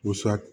Busan